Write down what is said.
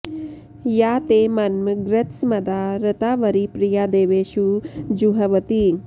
या ते॒ मन्म॑ गृत्सम॒दा ऋ॑तावरि प्रि॒या दे॒वेषु॒ जुह्व॑ति